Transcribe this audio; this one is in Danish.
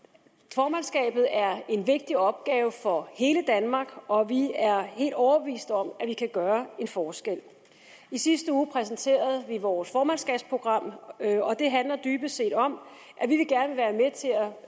formandskabet er en vigtig opgave for hele danmark og vi er helt overbevist om at vi kan gøre en forskel i sidste uge præsenterede vi vores formandskabsprogram og det handler dybest set om